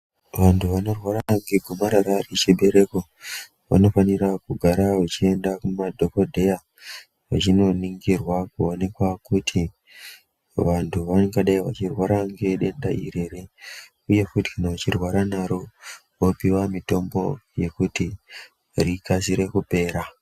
Vantu vanorwara ngegomarara remuchibereko vanofanira kugara vechienda kumadhokodheya vechinoningirwa kuonekwa kuti vantu vangadai vachirwara ngedenda iri here uye futi kana uchirwara naro wopuwe mitombo yekuti rikasire kupera.